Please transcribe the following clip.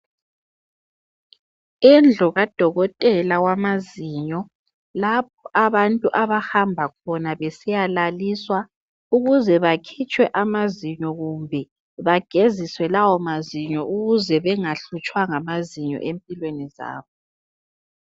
Indlu kadokotela wamazinyo. Lapho abantu abahamba khona besiyalaliswa ukuze bakhitshwe amazinyo kumbe bageziswe lawo mazinyo ukuze bengahlutshwa ngamazinyo empilweni zabo.